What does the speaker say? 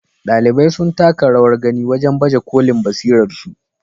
Ɗalibai sun taka rawar gani wajen baje kolin basirarsu.